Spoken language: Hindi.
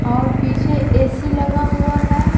और पीछे ए_सी लगा हुआ है।